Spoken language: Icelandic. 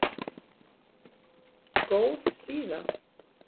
Góð síða